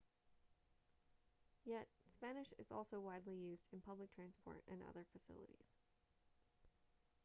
yet spanish is also widely used in public transport and other facilities